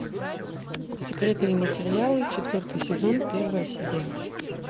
секретные материалы четвертый сезон первая серия